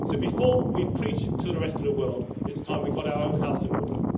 So, before we preach to the rest of the world, it is time we got our own house in order.